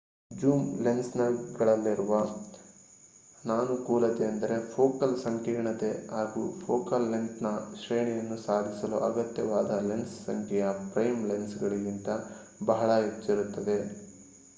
zoom lens ಗಳಲ್ಲಿರುವ ಅನಾನುಕೂಲತೆ ಎಂದರೆ ಫೋಕಲ್ ಸಂಕೀರ್ಣತೆ ಹಾಗೂ ಫೋಕಲ್ ಲೆಂತ್ ನ ಶ್ರೇಣಿಯನ್ನು ಸಾಧಿಸಲು ಅಗತ್ಯವಾದ ಲೆನ್ಸ್ ಸಂಖ್ಯೆಯು ಪ್ರೈಮ್ ಲೆನ್ಸ್ ಗಳಿಗಿಂತ ಬಹಳ ಹೆಚ್ಚಿರುತ್ತದೆ